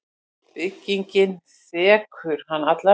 Byggingin þekur hann allan.